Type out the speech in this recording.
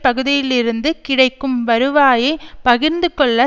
பகுதியிலிருந்து கிடைக்கும் வருவாயை பகிர்ந்து கொள்ள